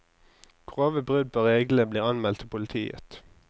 Grove brudd på reglene blir anmeldt til politiet.